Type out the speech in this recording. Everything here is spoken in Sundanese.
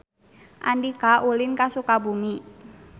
Andika ulin ka Sukabumi